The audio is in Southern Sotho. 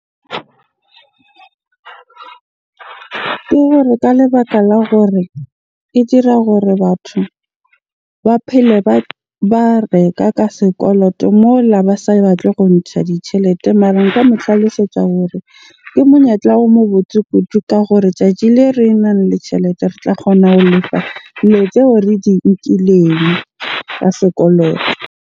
Ke hore ka lebaka la hore e dira hore batho ba phele ba reka ka sekoloto mola ba sa batle go ntsha ditjhelete. Mara nka mo tlhalosetsa hore ke monyetla o mo botse kudu ka hore tjatji le renang le tjhelete re tla kgona ho lefa dilo tseo re di nkileng ka sekoloto.